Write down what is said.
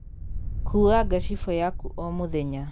Kua ngacibū yaku o mūthenya.